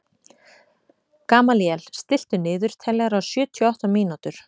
Gamalíel, stilltu niðurteljara á sjötíu og átta mínútur.